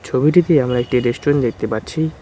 ছবিটিতে আমরা একটি রেস্টুরেন্ট দেখতে পাচ্ছি।